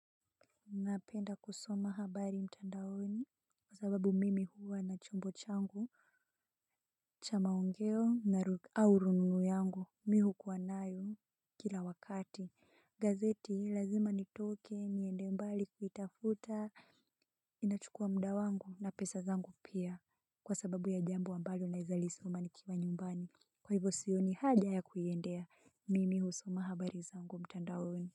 Napenda kusoma habari mtandaoni kwa sababu mimi huwa na chombo changu cha maongeo na au rununu yangu mimi hukuwa nayo kila wakati. Gazeti lazima nitoke niende mbali kuitafuta inachukua muda wangu na pesa zangu pia kwa sababu ya jambo ambalo nawezalisoma nikiwa nyumbani kwa hivyo sioni haja ya kuiendea mimi husoma habari zangu mtandaoni.